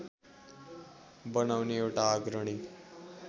बनाउने एउटा अग्रणी